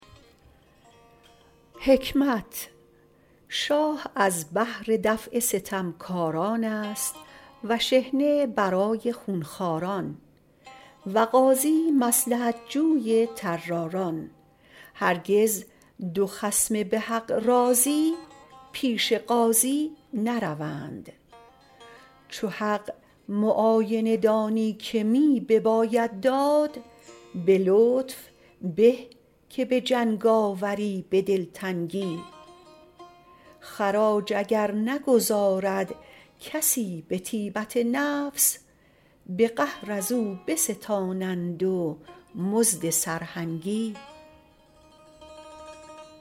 شاه از بهر دفع ستمکاران است و شحنه برای خونخواران و قاضی مصلحت جوی طراران هرگز دو خصم به حق راضی پیش قاضی نروند چو حق معاینه دانی که می بباید داد به لطف به که به جنگاوری به دلتنگی خراج اگر نگزارد کسی به طیبت نفس به قهر از او بستانند و مزد سرهنگی